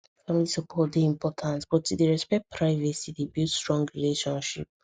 family support dey important but to dey respect privacy dey build strong relationships